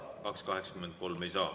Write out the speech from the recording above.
2.83 ei saa.